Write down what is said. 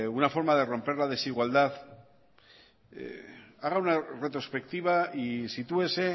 una forma de romper la desigualdad haga una retrospectiva y sitúese